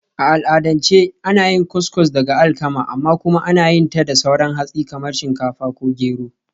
A al'adance ana yin Couscous daga alkama, amma kuma ana iya yin ta da sauran hatsi kamar shinkafa ko gero.